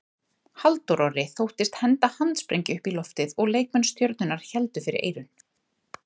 Halldór Orri þóttist henda handsprengju upp í loftið og leikmenn Stjörnunnar héldu fyrir eyrun.